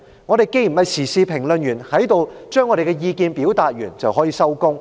我們不是時事評論員，在這裏表達完意見便可以收工。